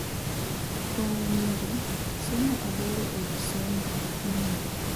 Kuom nyiri, somo aboro e wi somb nyiri